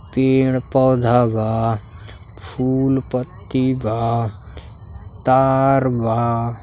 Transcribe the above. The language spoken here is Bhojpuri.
पेड़ पौधा बा। फूल पत्ती बा। तार बा।